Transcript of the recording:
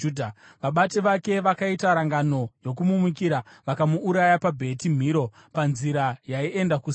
Vabati vake vakaita rangano yokumumukira vakamuuraya paBheti Miro, panzira yaienda kuSira.